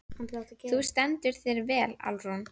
Þú stendur þig vel, Alrún!